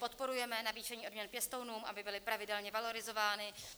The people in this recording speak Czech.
Podporujeme navýšení odměn pěstounů, aby byly pravidelně valorizovány.